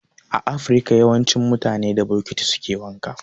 A afirka yawancin mutane da bokiti suke wanka